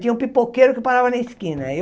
Tinha um pipoqueiro que parava na esquina. Aí